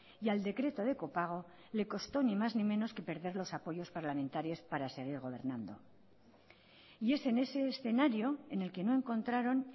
y al decreto de copago le constó ni más ni menos que perder los apoyos parlamentarios para seguir gobernando y es en ese escenario en el que no encontraron